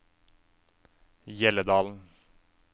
Hjelledalen